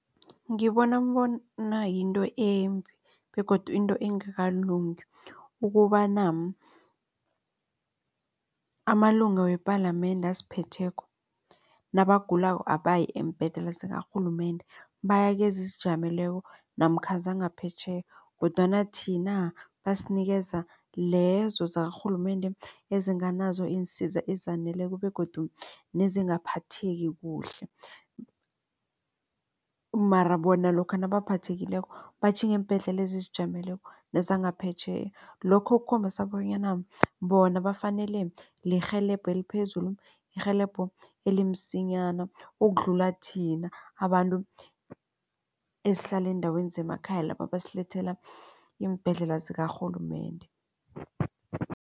Ngibona bona yinto embi begodu into engakalungi ukobana amalunga wepalamende asiphetheko nabagulako abayi eembhedlela zikarhulumende bayakezizijameleko namkha zangaphetjheya kodwana thina basinikeza lezo zakarhulumende ezinganazo iinsiza ezaneleko begodu nezingaphatheka kuhle. Mara bona lokha nabaphathekileko batjhinga eembhedlela lezi ezizijameleko nezangaphetjheya. Lokho kukhombisa bonyana bona bafanele lirhelebho eliphezulu irhelebho elimsinyana ukudlula thina abantu esihlala eendaweni zemakhaya laba abasilethela iimbhedlela zikarhulumende.